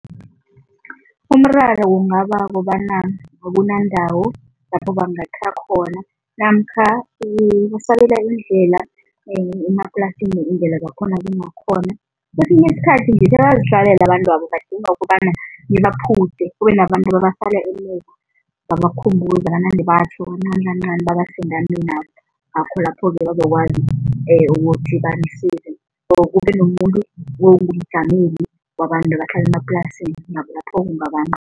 Umraro kungaba kobana akunandawo lapho bangakha khona namkha basabela indlela emaplasini iindlela zakhona zingakhona. Kwesinye isikhathi nje bayazihlalela abantwabo, badinga ukobana nibaphutjhe kube nabantu ababasala emuva babakhumbuza banande batjho kancanikancani or kube nomuntu ongumjameli wabantu abahlala emaplasini